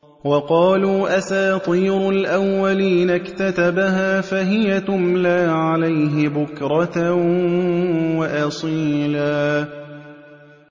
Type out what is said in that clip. وَقَالُوا أَسَاطِيرُ الْأَوَّلِينَ اكْتَتَبَهَا فَهِيَ تُمْلَىٰ عَلَيْهِ بُكْرَةً وَأَصِيلًا